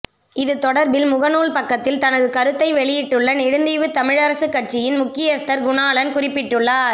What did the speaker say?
இது தொடர்பில் முகநுால் பக்கத்தில் தனது கருத்தை வெளியிட்டுள்ள நெடுந்தீவு தமிழரசுக் கட்சியின் முக்கியஸ்தர் குணாளன் குறிப்பிட்டுள்ளார்